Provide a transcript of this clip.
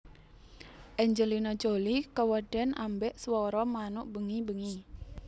Angelina Jolie keweden ambek swara manuk bengi bengi